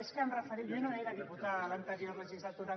és que jo no era diputada a l’anterior legislatura